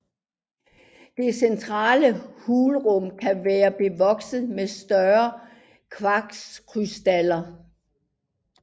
Dette centrale hulrum kan være bevokset med større kvartskrystaller